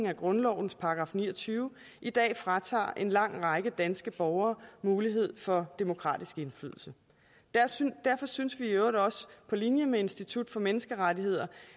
af grundlovens § ni og tyve i dag fratager en lang række danske borgere mulighed for demokratisk indflydelse derfor synes vi i øvrigt også på linje med institut for menneskerettigheder